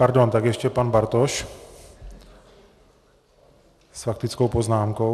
Pardon, tak ještě pan Bartoš s faktickou poznámkou.